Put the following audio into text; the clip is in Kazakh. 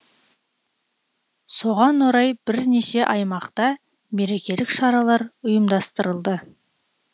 соған орай бірнеше аймақта мерекелік шаралар ұйымдастырылды